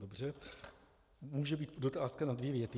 Dobře, může být otázka na dvě věty.